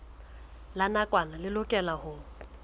la nakwana le lokelwang ho